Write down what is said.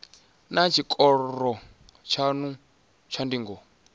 naa tshikoro tshanu tsha ndingo